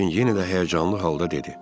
Lakin yenə də həyəcanlı halda dedi: